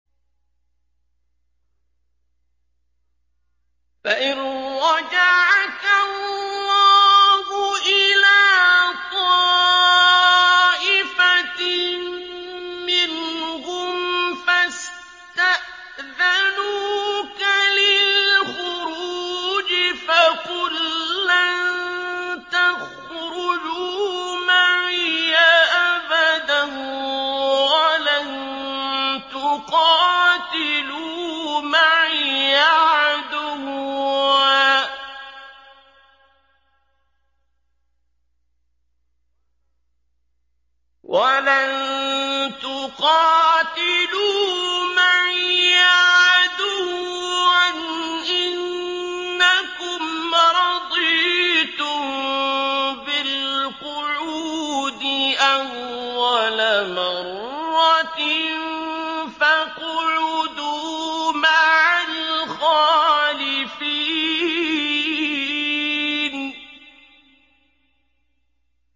فَإِن رَّجَعَكَ اللَّهُ إِلَىٰ طَائِفَةٍ مِّنْهُمْ فَاسْتَأْذَنُوكَ لِلْخُرُوجِ فَقُل لَّن تَخْرُجُوا مَعِيَ أَبَدًا وَلَن تُقَاتِلُوا مَعِيَ عَدُوًّا ۖ إِنَّكُمْ رَضِيتُم بِالْقُعُودِ أَوَّلَ مَرَّةٍ فَاقْعُدُوا مَعَ الْخَالِفِينَ